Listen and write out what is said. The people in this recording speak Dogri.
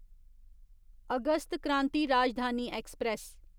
August Kranti Rajdhani express